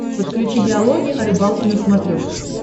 подключи диалоги о рыбалке на смотрешке